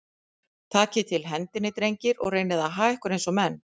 Takið til hendinni, drengir, og reynið að haga ykkur eins og menn.